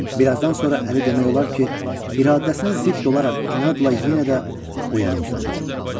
Bir azdan sonra Əli demək olar ki, iradəsinə zidd olaraq inadla yenə də oyana uzandı.